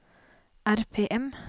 RPM